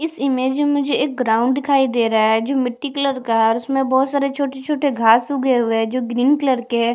इस इमेज में मुझे एक ग्राउंड दिखाई दे रहा है जो मिटटी कलर का है और उसमे बहुत सारे छोटे - छोटे घास उगे हुए है जो ग्रीन कलर के है।